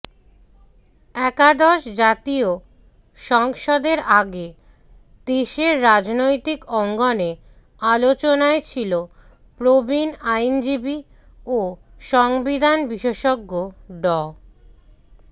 একাদশ জাতীয় সংসদের আগে দেশের রাজনৈতিক অঙ্গনে আলোচনায় ছিল প্রবীণ আইনজীবী ও সংবিধান বিশেষজ্ঞ ড